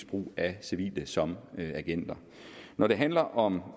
brug af civile som agenter når det handler om